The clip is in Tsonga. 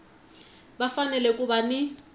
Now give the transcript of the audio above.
va fanele ku va ni